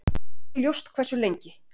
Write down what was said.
Ekki er ljóst hversu lengi.